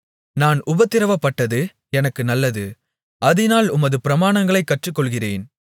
நான் உபத்திரவப்பட்டது எனக்கு நல்லது அதினால் உமது பிரமாணங்களைக் கற்றுக்கொள்ளுகிறேன்